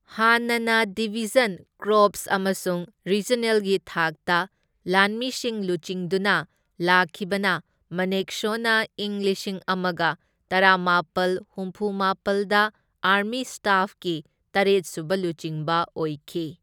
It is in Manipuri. ꯍꯥꯟꯅꯅ ꯗꯤꯚꯤꯖꯟ, ꯀꯣꯔꯄꯁ ꯑꯃꯁꯨꯡ ꯔꯤꯖꯅꯦꯜꯒꯤ ꯊꯥꯛꯇ ꯂꯥꯟꯃꯤꯁꯤꯡ ꯂꯨꯆꯤꯡꯗꯨꯅ ꯂꯥꯛꯈꯤꯕꯅ ꯃꯅꯦꯛꯁꯣꯅ ꯏꯪ ꯂꯤꯁꯤꯡ ꯑꯃꯒ ꯇꯔꯥꯃꯥꯄꯜ ꯍꯨꯝꯐꯨꯃꯥꯄꯜꯗ ꯑꯥꯔꯃꯤ ꯁ꯭ꯇꯥꯐꯀꯤ ꯇꯔꯦꯠꯁꯨꯕ ꯂꯨꯆꯤꯡꯕ ꯑꯣꯏꯈꯤ꯫